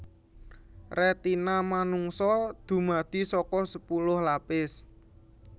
Retina manungsa dumadi saka sepuluh lapis